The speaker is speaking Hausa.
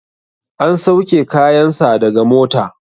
An sauke kayan sa daga mota